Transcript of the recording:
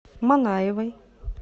манаевой